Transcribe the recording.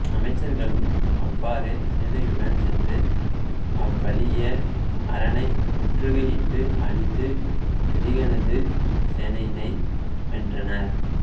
அமைச்சர்களும் அவ்வாறே சேனையுடன் சென்று அவ்வலிய அரணை முற்றுகை இட்டு அழித்து அதிகனது சேனையினை வென்றனர்